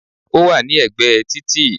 Ó wà ní ẹ̀gbẹ̀ títì